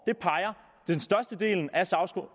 det peger den største del af